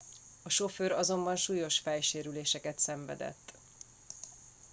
a sofőr azonban súlyos fejsérüléseket szenvedett